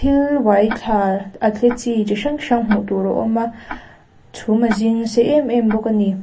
thil uai thla a tle chi thil hrang hrang hmuh tur a awm a chhum a zing nasa em em bawk a ni.